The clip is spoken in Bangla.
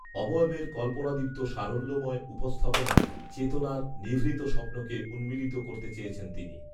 অবয়বের কল্পনাদীপ্ত সারল্যময় উপস্থাপনায় চেতনার, নিভৃত স্বপ্নকে, উন্মীলিত করতে চেয়েছেন তিনি